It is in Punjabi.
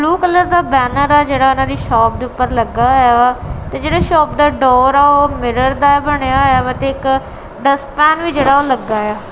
ਬਲੂ ਕਲਰ ਦਾ ਬੈਨਰ ਆ ਜਿਹੜਾ ਉਹਨਾਂ ਦੀ ਸ਼ੌਪ ਦੇ ਉੱਪਰ ਲੱਗਾ ਹੋਇਆ ਵਾ ਤੇ ਜਿਹੜਾ ਸ਼ੌਪ ਦਾ ਡੋਰ ਆ ਉਹ ਮਿਰਰ ਦਾ ਬਣਿਆ ਹੋਇਆ ਵਾ ਤੇ ਇੱਕ ਡਸਟਪੈਨ ਵੀ ਜਿਹੜਾ ਉਹ ਲੱਗਾ ਇਆ।